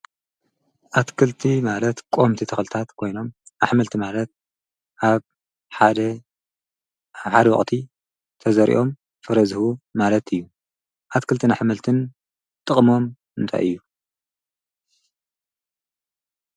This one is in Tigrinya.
ኣትክልቲ ማለት ቆምቲ ተኽልታት ኮይኖም ኣኅመልቲ ማለት ኣብ ሓደ ሓድቕቲ ተዘሪኦም ፍረዝሁ ማለት እዩ ኣትክልት ንኣኅመልትን ጥቕሞም እንተይ እዩ።